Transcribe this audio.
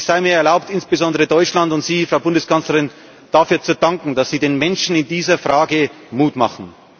Es sei mir erlaubt, insbesondere Deutschland und Ihnen, Frau Bundeskanzlerin, dafür zu danken, dass Sie den Menschen in dieser Frage Mut machen.